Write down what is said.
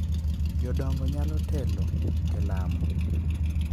Jodongo nyalo telo e lamo,